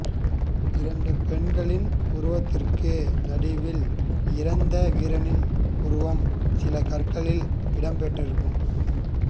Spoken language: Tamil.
இரண்டு பெண்களின் உருவத்திற்கு நடுவில் இறந்த வீரனின் உருவம் சில கற்களில் இடம் பெற்றிருக்கும்